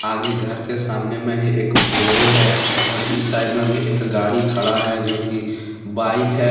आगे घर के सामने में ही एक बोलेरो है और इस साइड में भी एक गाड़ी खड़ा है जो की बाइक है।